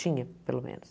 Tinha, pelo menos.